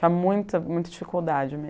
Tinha muita muita dificuldade mesmo.